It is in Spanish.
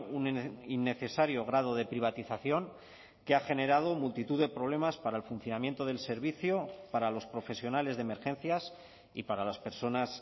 un innecesario grado de privatización que ha generado multitud de problemas para el funcionamiento del servicio para los profesionales de emergencias y para las personas